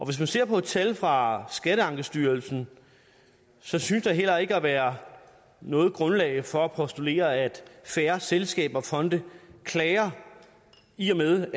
hvis man ser på tal fra skatteankestyrelsen synes der heller ikke at være noget grundlag for at postulere at færre selskaber og fonde klager i og med